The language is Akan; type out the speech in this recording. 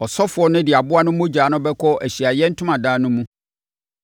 Ɔsɔfoɔ no de aboa no mogya bɛkɔ Ahyiaeɛ Ntomadan no mu.